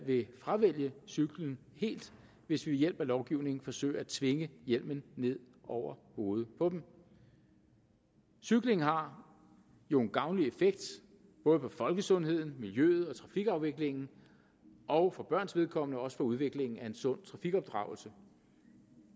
vil fravælge cyklen helt hvis vi ved hjælp af lovgivning forsøger at tvinge hjelmen ned over hovedet på dem cykling har jo en gavnlig effekt både for folkesundheden miljøet og trafikafviklingen og for børns vedkommende også for udviklingen af en sund trafikopdragelse og